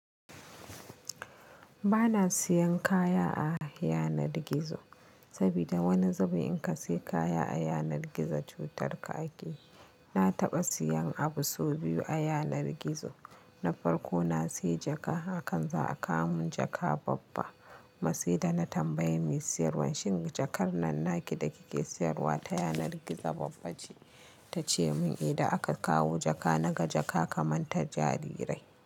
Ba na siyan kaya a yanar gizo, saboda wani zabi in ka siya kaya a yanar gizo cutar ka ake. Na taɓa siyan abu sau biyu a yanar gizo, na farko na siya jaka, akan za a kawo mun jaka babba. Mas'ida na tambayi mai siyarwan shin jakar nan naki da kike siyarwa ta yanar gizo babba ce? Ta ce mun idan aka kawo jaka na ga jaka kamar ta jarirai.